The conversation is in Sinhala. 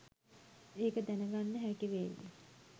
ඒක දැනගන්න හැකි වේවි